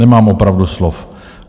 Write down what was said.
Nemám opravdu slov.